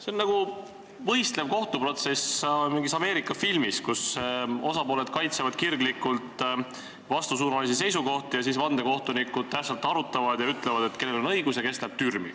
See on nagu võistlev kohtuprotsess mingis Ameerika filmis, kus osapooled kaitsevad kirglikult vastassuunalisi seisukohti ning siis vandekohtunikud tähtsalt arutavad ja ütlevad, kellel on õigus ja kes läheb türmi.